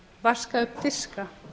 vaska upp diska